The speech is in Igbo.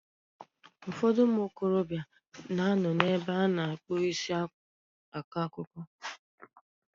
Ụfọdụ ụmụ okorobịa na ano n'ebe a na-akpụ isi akọ akụkọ.